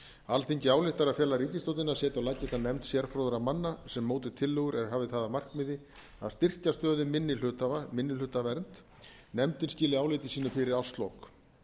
alþingi ályktar að fela ríkisstjórninni að setja á laggirnar nefnd sérfróðra manna sem móti tillögur er hafi það að markmiði að styrkja stöðu minni hluthafa minnihlutavernd nefndin skili áliti sínu fyrir árslok